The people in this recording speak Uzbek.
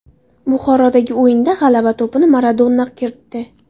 Buxorodagi o‘yinda g‘alaba to‘pini Maradona kiritdi.